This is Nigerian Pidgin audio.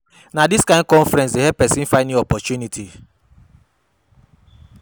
Na dis kain confidence dey help pesin find new opportunities.